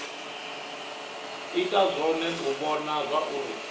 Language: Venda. ita zwone u vhona zwauri